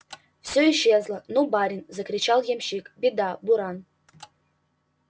все исчезло ну барин закричал ямщик беда буран